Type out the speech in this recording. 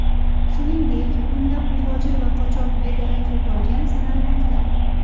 Shuningdek, o‘nlab muhojir va qochoq bedarak yo‘qolgan sanalmoqda.